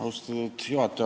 Austatud juhataja!